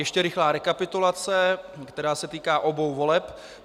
Ještě rychlá rekapitulace, která se týká obou voleb.